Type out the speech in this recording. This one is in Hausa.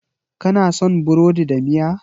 Kana son burodi da miya?